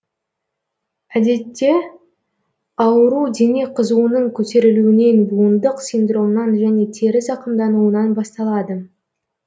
әдетте ауру дене қызуының көтерілуінен буындық синдромнан және тері зақымдануынан басталады